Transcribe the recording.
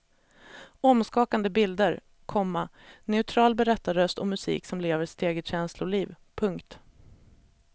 Omskakande bilder, komma neutral berättarröst och musik som lever sitt eget känsloliv. punkt